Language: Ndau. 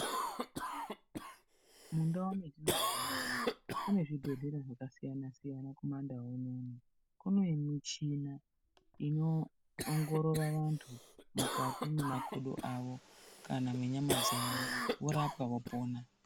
Mundau matoponera kune zvibhedhlera zvakasiyana-siyana kuma ndau unono kune michina inoongorora antu mukati memakodo awo kana menyama dzawo vorapwa vopona.